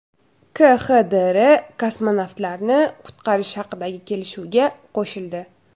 KXDR Kosmonavtlarni qutqarish haqidagi kelishuvga qo‘shildi.